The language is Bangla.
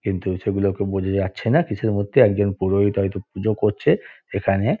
কিন্তু সেগুলোকে বোঝা যাচ্ছে না কিসের মধ্যে একজন পুরোহিত হয়তো পুজো করছে সেখানে ।